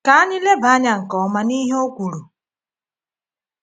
Ka anyị leba anya nke ọma n’ihe O kwuru.